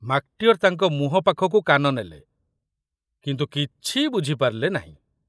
ମାକଟିଅର ତାଙ୍କ ମୁହଁ ପାଖକୁ କାନ ନେଲେ, କିନ୍ତୁ କିଛି ବୁଝିପାରିଲେ ନାହିଁ।